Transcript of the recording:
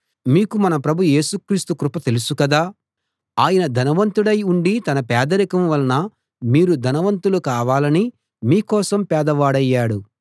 మీకు మన ప్రభు యేసు క్రీస్తు కృప తెలుసు గదా ఆయన ధనవంతుడై ఉండీ తన పేదరికం వలన మీరు ధనవంతులు కావాలని మీ కోసం పేదవాడయ్యాడు